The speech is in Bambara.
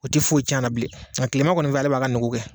O tɛ foyi tiɲɛ a la bilen, mɛ tilema kɔni fɛ ale b'a ka nugu kɛ.